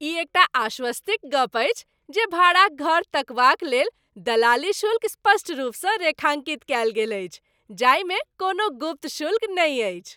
ई एकटा आश्वस्ति क गप्प अछि जे भाड़ा क घर तकबाक लेल दलाली शुल्क स्पष्ट रूपसँ रेखाङ्कित कयल गेल अछि जाहिमे कोनो गुप्त शुल्क नहि अछि।